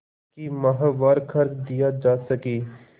कि माहवार खर्च दिया जा सके